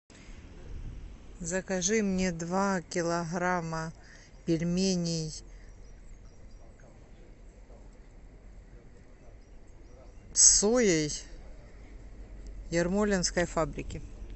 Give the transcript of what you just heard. закажи мне два килограмма пельменей с соей ермолинской фабрики